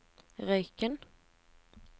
Røyken